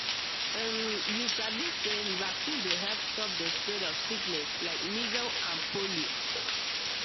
um you sabi say vaccine dey help stop the spread of sickness like measles and polio